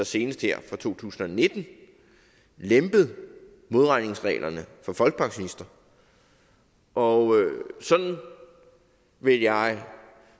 senest her for to tusind og nitten lempet modregningsreglerne for folkepensionister og sådan vil jeg